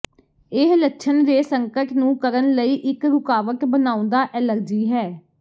ਇਹ ਲੱਛਣ ਦੇ ਸੰਕਟ ਨੂੰ ਕਰਨ ਲਈ ਇੱਕ ਰੁਕਾਵਟ ਬਣਾਉਦਾ ਐਲਰਜੀ ਹੈ